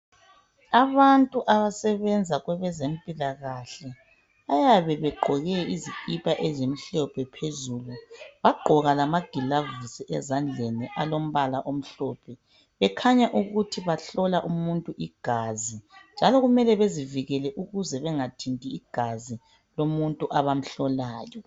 Abantu abasebenza kwabezempilakahle bayabe begqoke izikipa ezimhlophe phezulu bagqoka amagilovisi ezandleni alombala omhlophe, bekhanya ukuthi bahlola umuntu igazi njalo kumele bezivikele ukuze bengathinti igazi lomuntu abamhlolayo.